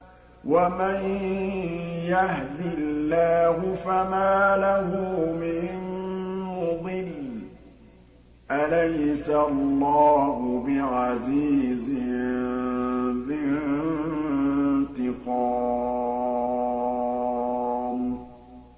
وَمَن يَهْدِ اللَّهُ فَمَا لَهُ مِن مُّضِلٍّ ۗ أَلَيْسَ اللَّهُ بِعَزِيزٍ ذِي انتِقَامٍ